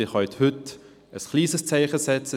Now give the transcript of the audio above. Sie können jedoch heute ein kleines Zeichen setzen.